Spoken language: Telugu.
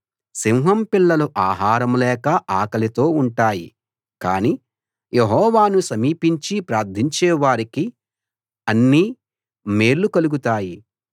సింహం పిల్లలు ఆహారం లేక ఆకలితో ఉంటాయి కాని యెహోవాను సమీపించి ప్రార్ధించే వారికి అన్ని మేళ్లూ కలుగుతాయి